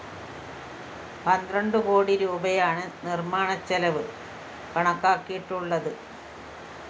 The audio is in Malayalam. പന്ത്രണ്ടു കോടി രൂപയാണ് നിര്‍മ്മാണച്ചെലവ് കണക്കാക്കിയിട്ടുള്ളത്